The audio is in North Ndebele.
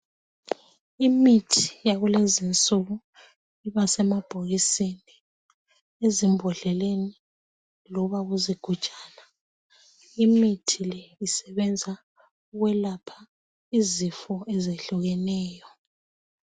Imithi yakulezinsuku ibasemabhokisini, ezimbodleleni loba kuzigujana. Imithi le isebenza ukwelapha izifo ezehlukeneyo.